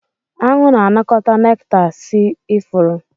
Aṅụ na-anakọta nekta si ifuru.